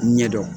Ɲɛdɔn